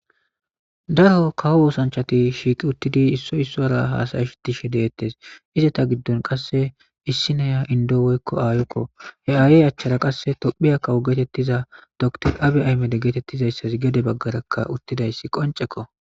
Daro kawo oosanchchati shiiqi uttidi haasa'ishe deettes. Izeta giddon qasse ossi naya inddo woy aayokko. He aayey achcrara qassekka tophphiya kawo geetettiza dokiter Abiy geetettizayssazikka gede baggara uttidayssazi qoncceko.